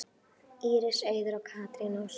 Íris Auður og Katrín Ósk.